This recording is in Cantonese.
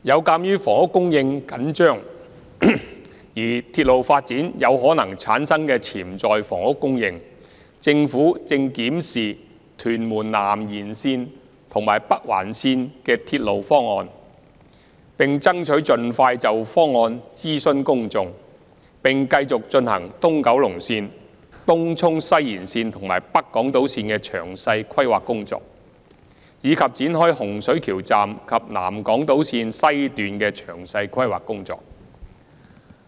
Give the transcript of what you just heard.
鑒於房屋供應緊張，而鐵路發展有可能產生潛在的房屋供應，政府正檢視屯門南延線和北環線的鐵路方案，爭取盡快就方案諮詢公眾，並繼續進行東九龍線、東涌西延線和北港島線的詳細規劃工作，以及展開洪水橋站及南港島線的詳細規劃工作。